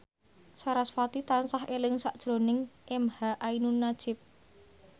sarasvati tansah eling sakjroning emha ainun nadjib